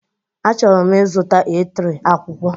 Achọrọ m ịzụta A3, akwụkwọ